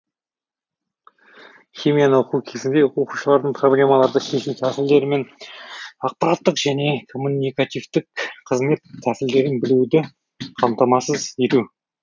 химияны оқу кезінде оқушылардың проблемаларды шешу тәсілдері мен ақпараттық және коммуникативтік қызмет тәсілдерін білуді қамтамасыз ету